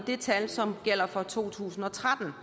det tal som gælder for to tusind og tretten